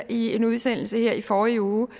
i en udsendelse her i forrige uge det